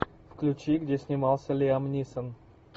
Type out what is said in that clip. включи где снимался лиам нисон